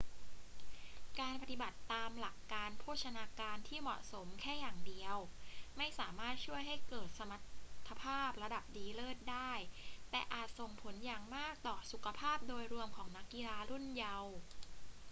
การปฏิบัติตามหลักการโภชนาการที่เหมาะสมแค่อย่างเดียวไม่สามารถช่วยให้เกิดสมรรถภาพระดับดีเลิศได้ แต่อาจส่งผลอย่างมากต่อสุขภาพโดยรวมของนักกีฬารุ่นเยาว์